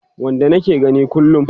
Wanda nake gani kullum